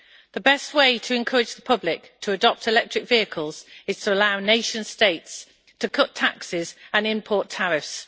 The best way to encourage the public to adopt electric vehicles is to allow nation states to cut taxes and import tariffs.